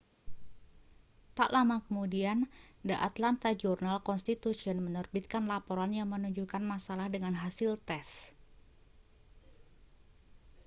tak lama kemudian the atlanta journal-constitution menerbitkan laporan yang menunjukkan masalah dengan hasil tes